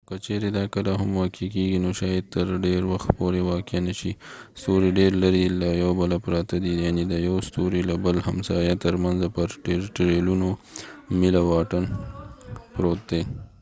خو که چیرې دا کله هم واقع کیږي نو شاید تر ډیر وخت پورې واقع نه شي ستوري ډیر لرې له یو بله پراته دي یعنی د یو ستوري له بل همسایه تر منځه په ټریلیونونو میله واټن پروت دی